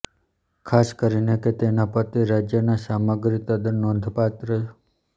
ખાસ કરીને કે તેના પતિ રાજ્યના સામગ્રી તદ્દન નોંધપાત્ર